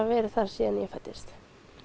verið þar síðan ég fæddist